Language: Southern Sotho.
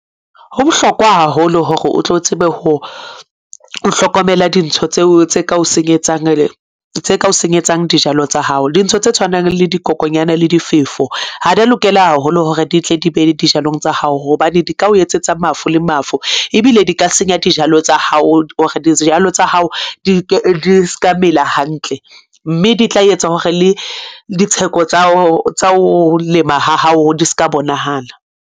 Ho bohlokwa haholo hore o tlo tsebe ho hlokomela dintho tseo tse ka o senyetsang, tse ka o senyetsang dijalo tsa hao. Dintho tse tshwanang le dikokonyana le difefo ha di a lokela haholo hore di tle di be dijalong tsa hao hobane di ka o etsetsa mafu le mafu, ebile di ka senya dijalo tsa hao hore dijalo tsa hao di ska mela hantle. Mme di tla etsa hore le ditheko tsa ho lema ha hao di ska bonahala.